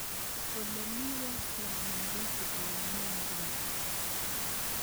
Olemi westlands Nairobi eng' ng'wonyduni